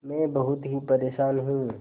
मैं बहुत ही परेशान हूँ